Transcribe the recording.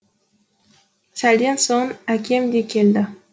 сәлден соң әкем де келді